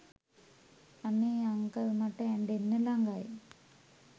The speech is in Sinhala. අනේ අංකල් මට ඇඬෙන්න ලඟයි